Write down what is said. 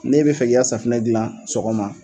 Ne bi fɛ k'i ka safinɛ gilan sɔgɔma